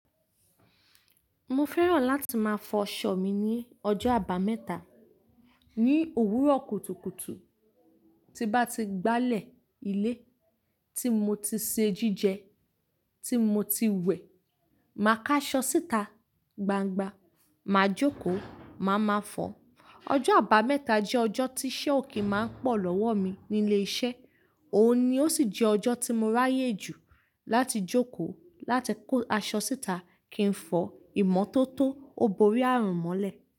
Mo fẹ́ràn láti máa fọ Ṣọ mí ní ọjọ́ àbámẹ́ta ní òwúrọ̀ kùtùkùtù. Ti bá ti gbálẹ̀ ilé tí mo ti se jíjẹ, tí mo ti wẹ̀, màá ká aṣọ síta gbangba, màá jókòó, màá máa fọ. Ọjọ́ àbámẹ́ta jẹ́ ọjọ́ tí iṣẹ́ òkè máa ń pọ̀ lọ́wọ́ mi ní ilé iṣẹ́, òun ni ó sì jẹ́ ọjọ́ tí mo ráyè jù láti jókòó láti kó aṣọ síta kí n fọ ìmọ́tótó, ó borí ààrùn mọ́lẹ̀.